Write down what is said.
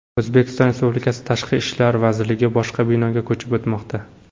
O‘zbekiston Respublikasi Tashqi ishlar vazirligi boshqa binoga ko‘chib o‘tmoqda.